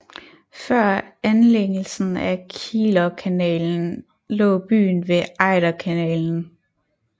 Før anlægelsen af Kielerkanalen lå byen ved Ejderkanalen